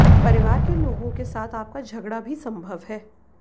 परिवार के लोगों के साथ आपका झगड़ा भी संभव है